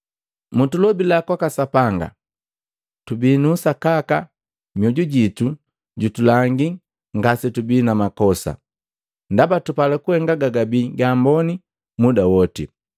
Mutulobila kwaka Sapanga. Tubii nu usakaka, mioju jitu jutulangi ngase tubii na makosa, ndaba tupala kuhenga gagabii gaamboni muda woti.